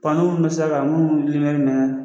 mun bɛ sira kan munnu mɛnɛnnen do.